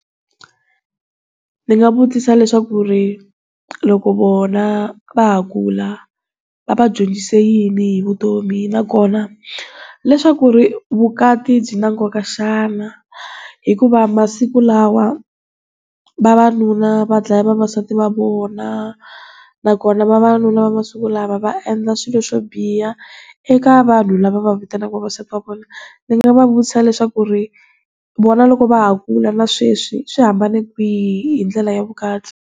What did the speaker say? Ndzi nga vutisa leswi swa ku ri loko vona va ha kula va va dyondzise yini hi vutomi na kona leswaku ri vukati byi na nkoka xana, hikuva masiku lawa vavanuna va dlaya vavasati va vona na kona vavanuna masiku lava va endla swilo swo biha eka vanhu lava va vitanaka vavasati va vona. Ndzi nga va vutisa leswiaku ri vona loko va ha kula na sweswi swi hambane kwihi hi ndlela ya vukati.